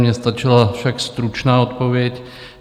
Mně stačila však stručná odpověď.